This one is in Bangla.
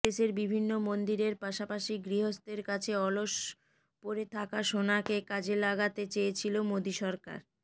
দেশের বিভিন্ন মন্দিরের পাশাপাশি গৃহস্থের কাছে অলস পরে থাকা সোনাকে কাজে লাগাতে চেয়েছিল মোদী সরকার